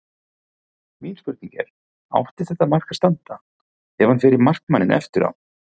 Mín spurning er: Átti þetta mark að standa, hann fer í markmanninn eftir á?